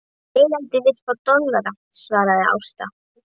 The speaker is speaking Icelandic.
Eigandinn vill fá dollara, svaraði Ásta.